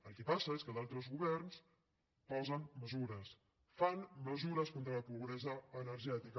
el que passa és que altres governs posen mesures fan mesures contra la pobresa energètica